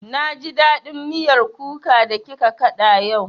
Na ji daɗin miyar kuka da kika kaɗa yau